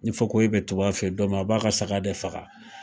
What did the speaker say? Ni fakoyi be tobi a fe yen don min, a b'a ka saga de faga.